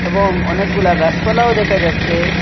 এবং অনেকগুলা গাছপালাও দেখা যাচ্ছে।